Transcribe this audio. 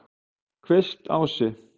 Kvistási